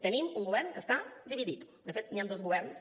tenim un govern que està dividit de fet hi han dos governs